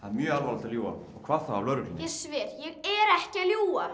mjög alvarlegt að ljúga og hvað þá að lögreglunni ég sver ég er ekki að ljúga